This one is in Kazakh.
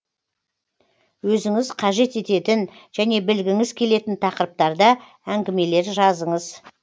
өзіңіз қажет ететін және білгіңіз келетін тақырыптарда әңгімелер жазыңыз